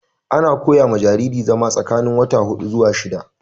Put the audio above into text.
Ana fara koya wa jariri zama tsakanin wata hudu zuwa shidda